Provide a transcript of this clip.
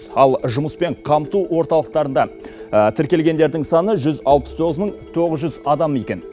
ал жұмыспен қамту орталықтарында тіркелгендердің саны жүз алпыс тоғыз мың тоғыз жүз адам екен